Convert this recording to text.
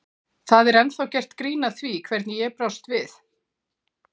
Það er ennþá gert grín að því hvernig ég brást við.